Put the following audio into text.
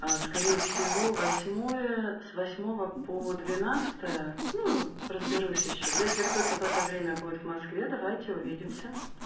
а скорее всего восьмое с восьмого по двенадцатое ну разберусь ещё если кто-то в это время будет в москве давайте увидимся